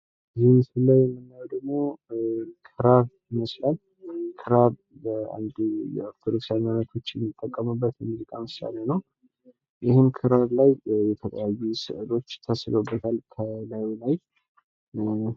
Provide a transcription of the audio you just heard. ይህ ብምስሉ ላይ የምንመለከተው ክራር ይመስላል በክርስትና ሀይማሮት የሚጠቀሙበት ነው። ክራሩ ላይ ደግሞ ብዙ ምስሎትች አሉት።